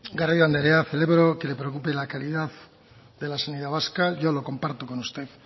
garrido andrea celebro que le preocupe la calidad de la sanidad vasca yo lo comparto con usted